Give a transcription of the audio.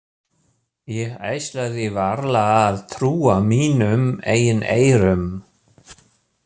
Ég ætlaði varla að trúa mínum eigin eyrum.